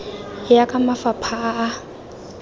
ya ka mafapha a a